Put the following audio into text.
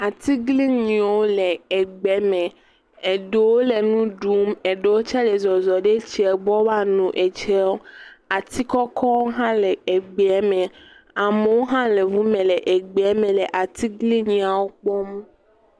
atiglinyiwo le egbe me eɖewo le nu ɖum eɖewo tsɛ le zɔzɔm ɖe etsie gbɔ woano etsiewo atikɔkɔwo hã le egbeɛ me amewo hã le eʋu me le atiglinyiawo kpɔm